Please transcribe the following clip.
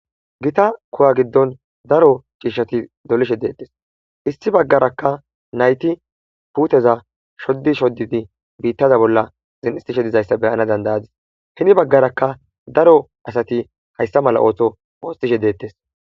gita kowa giddon daro ciishshati dolishe deettes issi baggarakka nayti puuteza shoddi shoddidi biittaza bolla zin7istishe dizayssa beyana dandayadis hini baggarakka daro asati hayssa mala ooto oostishe deettes